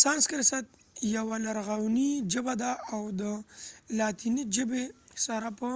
سانسکرت یوه لرغونې ژبه ده او د لاتیني ژبې سره چې په